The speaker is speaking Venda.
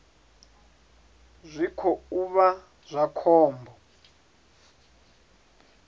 zwi khou vha zwa khombo